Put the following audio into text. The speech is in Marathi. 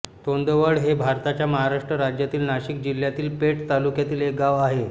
तोंडवळ हे भारताच्या महाराष्ट्र राज्यातील नाशिक जिल्ह्यातील पेठ तालुक्यातील एक गाव आहे